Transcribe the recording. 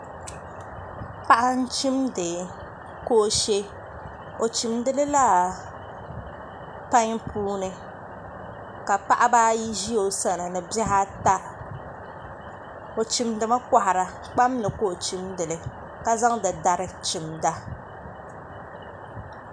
Paɣa n chimdi boofurooto o chimdilila pai puuni ka paɣaba ayi ʒi o sani ni bihi ata o chimdimi kahara kpam ni ka zaŋdi dari chimda